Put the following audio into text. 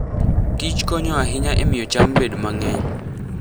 Kich konyo ahinya e miyo cham bed mang'eny.